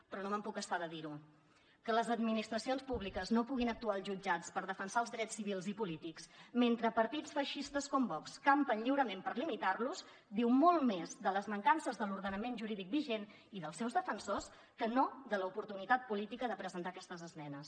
però no me’n puc estar de dir ho que les administracions públiques no puguin actuar als jutjats per defensar els drets civils i polítics mentre partits feixistes com vox campen lliurement per limitar los diu molt més de les mancances de l’ordenament jurídic vigent i dels seus defensors que no de l’oportunitat política de presentar aquestes esmenes